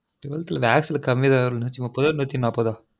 twelve th ல maths ல கம்மியா தான் வந்தச்சு நூப்பதொ நூத்தி நாப்பதொ